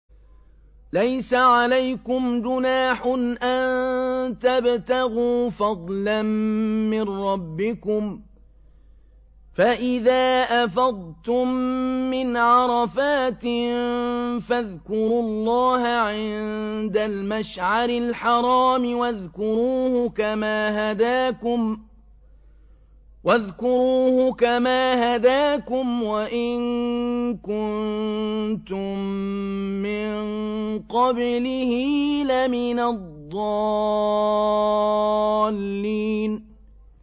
لَيْسَ عَلَيْكُمْ جُنَاحٌ أَن تَبْتَغُوا فَضْلًا مِّن رَّبِّكُمْ ۚ فَإِذَا أَفَضْتُم مِّنْ عَرَفَاتٍ فَاذْكُرُوا اللَّهَ عِندَ الْمَشْعَرِ الْحَرَامِ ۖ وَاذْكُرُوهُ كَمَا هَدَاكُمْ وَإِن كُنتُم مِّن قَبْلِهِ لَمِنَ الضَّالِّينَ